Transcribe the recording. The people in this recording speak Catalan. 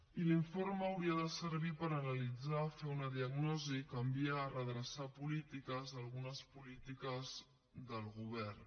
i l’informe hauria de servir per analitzar fer una diagnosi canviar redreçar polítiques algunes polítiques del govern